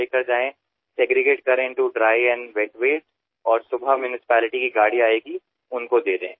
घरी घेऊन जावेकोरडा कचरा आणि ओला कचरा असे त्याचे वर्गीकरण करावे आणि सकाळी जेव्हा महानगरपालिकेची गाडी येईल तेव्हा तो त्यात टाकावा